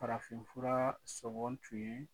Farafinf fura sɔngɔ tun ye